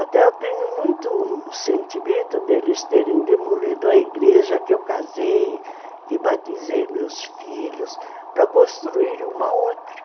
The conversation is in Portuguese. Até eu tenho muito sentimento deles terem demolido a igreja que eu casei e batizei meus filhos para construir uma outra.